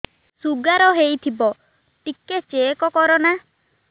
sugar ହେଇଥିବ ଟିକେ check କର ନା